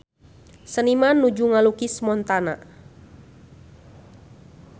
Seniman nuju ngalukis Montana